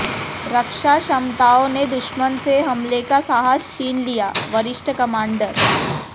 रक्षा क्षमताओं ने दुश्मन से हमले का साहस छीन लियाः वरिष्ठ कमान्डर